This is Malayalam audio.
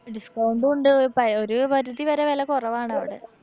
discount ഉണ്ട് പഴയ ഒരു പരിധിവരെ വെല കൊറവാണവടെ.